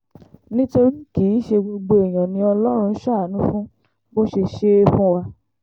nítorí kì í ṣe gbogbo èèyàn ni ọlọ́run ń ṣàánú fún bó ṣe ṣe é fún wa